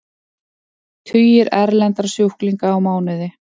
Tugir erlendra sjúklinga á mánuði